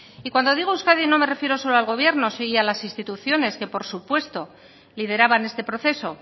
y cuando digo euskadi no me refiero solo al gobierno y a las instituciones que por supuesto lideraban este proceso